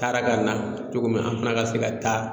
Taara ka na cogo min na an fana ka se ka taa